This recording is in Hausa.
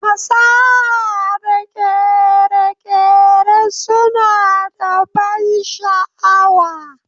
Fasaha da kere-kere suna da ban sha'awa